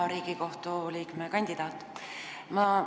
Hea Riigikohtu liikme kandidaat!